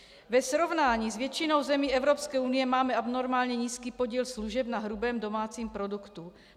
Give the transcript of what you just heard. Ve srovnání s většinou zemí Evropské unie máme abnormálně nízký podíl služeb na hrubém domácím produktu.